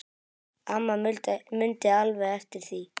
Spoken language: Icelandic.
Amma mundi alveg eftir því.